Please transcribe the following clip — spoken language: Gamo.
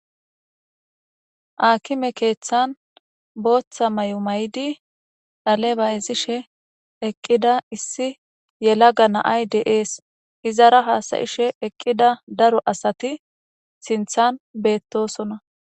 Akime keeththan booththa may7o may7di dhale bayzishe eqqida issi yela ga naay deees izara haasayishe eqqida daro asati sinthan beettosona.